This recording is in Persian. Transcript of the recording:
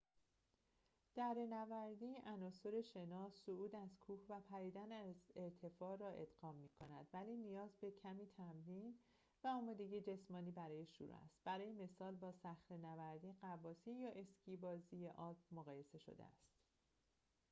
دره‌نوردی عناصر شنا، صعود از کوه و پریدن از ارتفاع را ادغام می‌کند ولی نیاز به کمی تمرین و آمادگی جسمانی برای شروع است برای مثال با صخره‌نوردی،‌ غواصی یا اسکی بازی آلپ مقایسه شده است